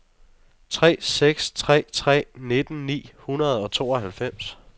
tre seks tre tre nitten ni hundrede og tooghalvfems